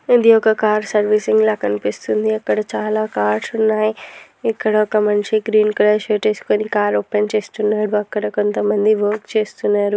ఇది ఒక car servicing లా కనిపిస్తుంది. అక్కడ చాలా కార్స్ ఉన్నాయి. ఇక్కడొక మనిషి గ్రీన్ కలర్ షర్ట్ వేసుకుని కార్ ఓపెన్ చేస్తున్నాడు. అక్కడ కొంత మంది వర్క్ చేస్తున్నారు.